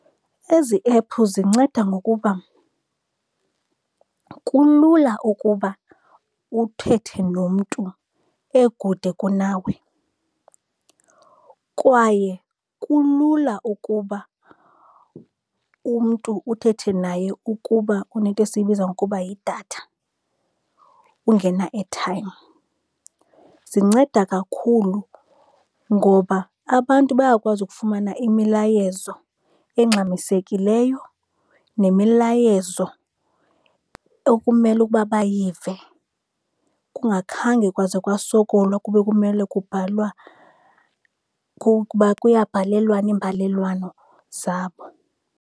Ezi ephu zinceda ngokuba kulula ukuba uthethe nomntu ekude kunawe, kwaye kulula ukuba umntu uthethe naye ukuba unento esiyibiza ngokuba yidatha, ungena-airtime. Zinceda kakhulu ngoba abantu bayakwazi ukufumana imilayezo engxamisekileyo nemilayezo okumele ukuba bayive, kungakhange kwaze kwasokolwa kube kumele kubhalwa kukuba kuyabhalelwana iimbalelwano zabo.